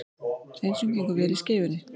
Hreinsun gengur vel í Skeifunni